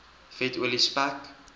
vet olie spek